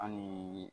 An ni